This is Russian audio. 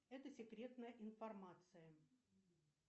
это секретная информация